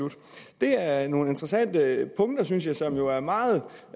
det er nogle interessante punkter synes jeg som jo er meget